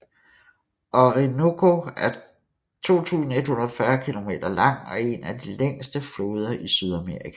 Orinoco er 2140 km lang og en af de længste floder i Sydamerika